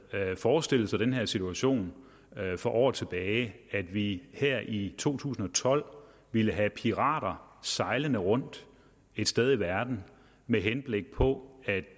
forestillet sig den situation for år tilbage at vi her i to tusind og tolv ville have pirater sejlende rundt et sted i verden med henblik på at